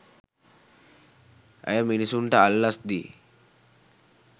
ඇය මිනිසුන්ට අල්ලස් දී